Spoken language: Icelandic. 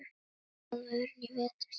Hvernig stóð vörnin í vetur?